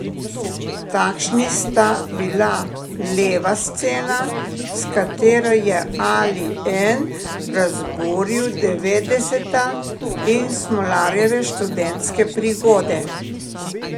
Takšni sta bila Leva scena, s katero je Ali En razburil devetdeseta, in Smolarjeve študentske prigode.